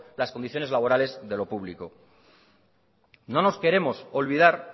las condiciones las condiciones laborales de lo público no nos queremos olvidar